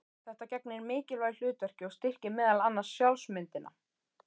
Þetta gegnir mikilvægu hlutverki og styrkir meðal annars sjálfsmyndina.